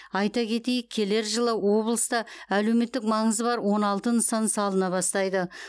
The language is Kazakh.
айта кетейік келер жылы облыста әлеуметтік маңызы бар он алты нысан салына бастайды